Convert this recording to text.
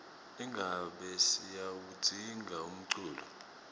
ingabe siyawudzinga umculo